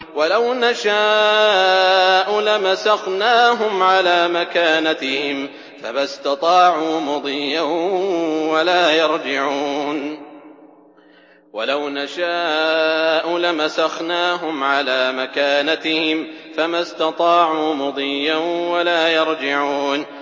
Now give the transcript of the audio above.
وَلَوْ نَشَاءُ لَمَسَخْنَاهُمْ عَلَىٰ مَكَانَتِهِمْ فَمَا اسْتَطَاعُوا مُضِيًّا وَلَا يَرْجِعُونَ